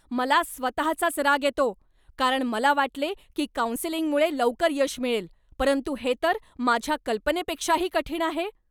मला स्वतःचाच राग येतो, कारण मला वाटले की काउंसेलिंगमुळे लवकर यश मिळेल, परंतु हे तर माझ्या कल्पनेपेक्षाही कठीण आहे.